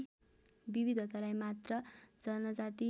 विविधतालाई मात्र जनजाति